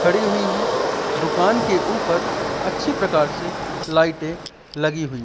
खड़ी हुई है दुकान के ऊपर अच्छी प्रकार से लाइटें लगी हुई--